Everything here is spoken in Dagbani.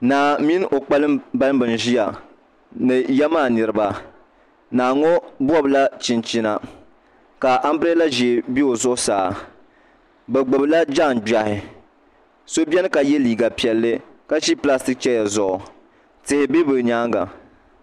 Naa mini o kpambalibi n ʒiya ni ya maa niraba naa ŋo bobla chinchina ka anbirɛla ʒiɛ bɛ o zuɣusaa bi gbubila daangbaɣi so biɛni ka yɛ liiga piɛlli ka ʒi pilastik chɛya zuɣu tihi bɛ bi nyaanga